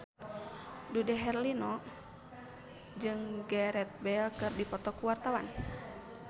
Dude Herlino jeung Gareth Bale keur dipoto ku wartawan